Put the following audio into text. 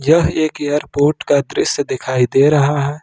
यह एक एयरपोर्ट का दृश्य दिखाई दे रहा है।